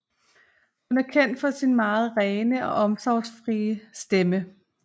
Hun er kendt for sin meget rene og omfangsrige stemme